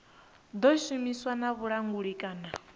ḓo shumisana na vhulanguli kana